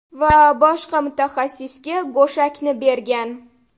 Va boshqa mutaxassisga go‘shakni bergan.